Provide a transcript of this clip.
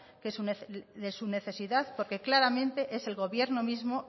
de su necesidad porque claramente es el gobierno mismo